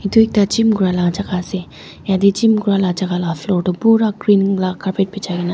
tu ekta gym kura laka jaka ase yatae gym kurala jaka la floor tu pura green la carpet bijaikae naas.